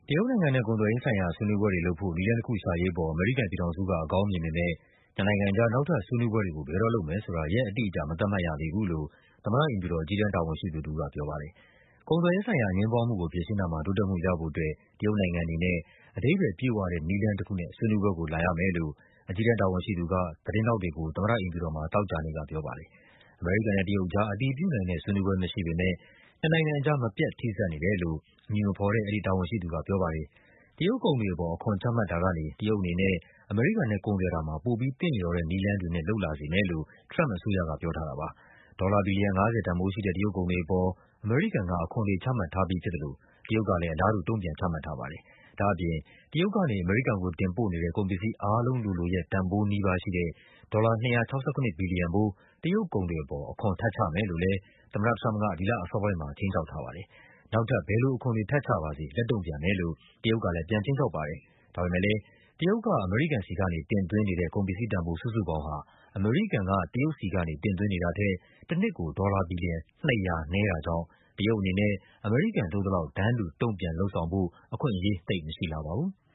တရုတ်နိုင်ငံနဲ့ ကုန်သွယ်ရေးဆိုင်ရာ ဆွေးနွေးပွဲတွေလုပ်ဖို့ နည်းလမ်းတခုရှာရေးအပေါ် အမေရိကန်ပြည် ထောင်စုက အကောင်း မြင်ပေမယ့် နှစ်နိုင်ငံအကြား နောက်ထပ် ဆွေးနွေးပွဲတွေကို ဘယ်တော့လုပ်မယ်ဆိုတာ ရက်အတိအကျ မသတ်မှတ်ရသေးဘူးလို့ သမ္မတအိမ်ဖြူတော် အကြီးတန်းတာဝန်ရှိသူတဦးက ပြောပါတယ်။ ကုန်သွယ်ရေးဆိုင်ရာ အငြင်းပွားမှုကိုဖြေရှင်းတာမှာ တိုးတက်မှုရဖို့အတွက် တရုတ်နိုင်ငံအနေနဲ့ “အဓိပ္ပါယ်ပြည့်ဝ တဲ့ နည်းလမ်း တခုနဲ့ ဆွေးနွေးပွဲကိုလာရမယ်”လို့ အကြီးတန်းတာဝန်ရှိသူက သတင်းထောက်တွေကို သမ္မတအိမ်ဖြူတော်မှာ သောကြာနေ့က ပြောပါတယ်။ အမေရိကန်နဲ့ တရုတ်အကြား အတည်ပြုနိုင်တဲ့ ဆွေးနွေးပွဲ မရှိပေမယ့် နှစ်နိုင်ငံအကြား “မပြတ် ထိစပ်နေတယ်” လို့ အမည်မဖော် တဲ့ အဲဒီတာဝန်ရှိသူကပြောပါတယ်။ တရုတ်ကုန်တွေအပေါ် အခွန်ချမှတ်တာကနေ တရုတ်အနေနဲ့ အမေရိကန်နဲ့ ကုန်သွယ်တာမှာ ပိုပြီး သင့်လျော်တဲ့ နည်းလမ်းတွေ နဲ့ လုပ်လာစေမယ်လို့ ထရမ့်ပ်အစိုးရက ပြောထားတာပါ။ ဒေါ်လာဘီလီယံ ၅၀ တန်ဖိုးရှိတဲ့ တရုတ်ကုန်တွေအပေါ် အမေရိကန်က အခွန်တွေ ချမှတ်ထားပြီးဖြစ်သလို တရုတ်ကလည်း အလားတူ တုန့်ပြန်ချမှတ်ထားပါတယ်။ ဒါ့အပြင် တရုတ်က အမေရိကန်ကိုတင်ပို့နေတဲ့ ကုန်ပစ္စည်းအားလုံးလိုလိုရဲ့ တန်ဖိုးနီးပါး ရှိတဲ့ ဒေါ်လာ ၂၆၇ ဘီလီယံဖိုး တရုတ်ကုန်တွေအပေါ် အခွန်တွေထပ်ချမယ်လို့လည်း သမ္မတထရမ့်ပ်က ဒီလအစောပိုင်းမှာ ခြိမ်းခြောက်ထားပါတယ်။ နောက်ထပ် ဘယ်လိုအခွန်တွေ ထပ်ချပါစေ လက်တုန့်ပြန်မယ်လို့ တရုတ်ကလည်း ခြိမ်းခြောက်ထားပါတယ်။ ဒါပေမဲ့လည်း တရုတ်က အမေရိကန်ဆီကနေ တင်သွင်းနေတဲ့ ကုန်ပစ္စည်းတန်ဖိုး စုစုပေါင်းဟာ အမေရိကန်က တရုတ်ဆီကနေ တင်သွင်းနေ တာထက် တနှစ်ကို ဒေါ်လာဘီလီယံ ၂၀၀ နည်းတာကြောင့် တရုတ်အနေနဲ့ အမေရိကန်လုပ်သလောက် တန်းတူ တုန့်ပြန် လုပ်ဆောင်ဖို့ အခွင့်အရေးသိပ်မရှိလှပါဘူး။